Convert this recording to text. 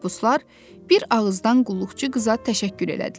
Məhbuslar bir ağızdan qulluqçu qıza təşəkkür elədilər.